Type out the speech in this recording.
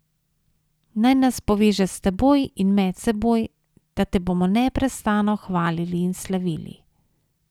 Naj nas poveže s teboj in med seboj, da te bomo neprestano hvalili in slavili.